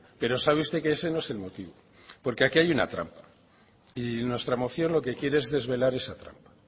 pero sabe usted que ese no es el motivo porque aquí hay una trama y nuestra moción lo que quiere es desvelar esa trama